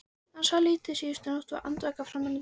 Hann svaf lítið síðustu nótt, var andvaka fram undir morgun.